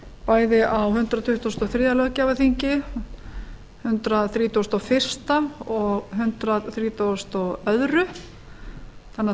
bæði á hundrað tuttugasta og þriðja löggjafarþingi hundrað þrítugasta og fyrsta og hundrað þrítugasta og öðrum þannig að